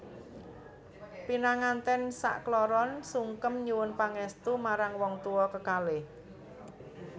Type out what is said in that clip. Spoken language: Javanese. Pinangantèn sak kloron sungkem nyuwun pangèstu marang wong tuwa kekalih